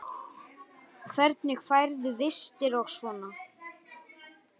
Hvernig færðu vistir og svona?